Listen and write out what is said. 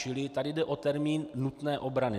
Čili tady jde o termín nutné obrany.